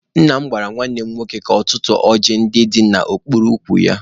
Nna m gwara nwanne m nwoke ka ọ tụtụọ ọjị ndị dị n'okpuru ukwu ya.